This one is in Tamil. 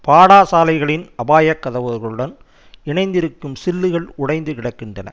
பாடாசாலைகளின் அபாயக்கதவுகளுடன் இணைந்திருக்கும் சில்லுகள் உடைந்து கிடக்கின்றன